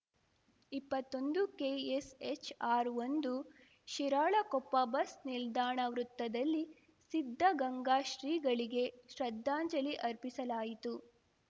ಇಪ್ಪತ್ತೊಂದುಕೆಎಸ್‌ H R ಒಂದು Shiralakoppa bus ನಿಲ್ದಾಣ ವೃತ್ತದಲ್ಲಿ ಸಿದ್ಧಗಂಗಾ ಶ್ರೀಗಳಿಗೆ ಶ್ರದ್ಧಾಂಜಲಿ ಅರ್ಪಿಸಲಾಯಿತು